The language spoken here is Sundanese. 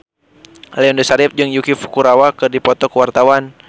Aliando Syarif jeung Yuki Furukawa keur dipoto ku wartawan